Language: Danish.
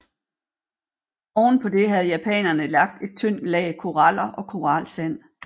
Oven på det havde japanerne lagt et tyndt lag koraller og koralsand